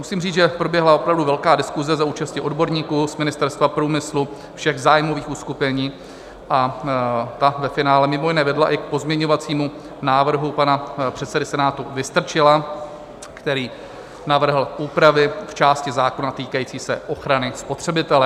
Musím říct, že proběhla opravdu velká diskuse za účasti odborníků z Ministerstva průmyslu, všech zájmových uskupení, a ta ve finále mimo jiné vedla i k pozměňovacímu návrhu pana předsedy Senátu Vystrčila, který navrhl úpravy v části zákona týkající se ochrany spotřebitele.